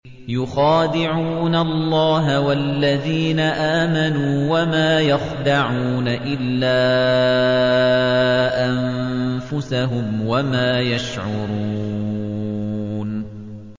يُخَادِعُونَ اللَّهَ وَالَّذِينَ آمَنُوا وَمَا يَخْدَعُونَ إِلَّا أَنفُسَهُمْ وَمَا يَشْعُرُونَ